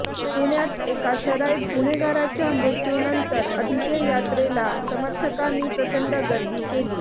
पुण्यात एका सराईत गुन्हेगाराच्या मृत्यूनंतर अंत्ययात्रेला समर्थकांनी प्रचंड गर्दी केली